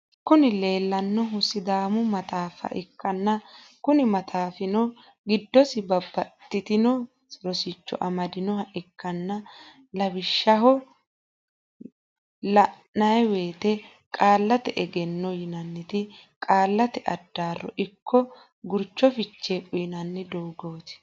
Kuni lelanohu sidaamu mataffa ikana kuni mataffino gidosi babatitino rosicho amdinohaa ikana lawishaho lanaiwoyitte qaallate egenno yinaiti qaallate adarro iko gurichu fiche uyinanni dogotti.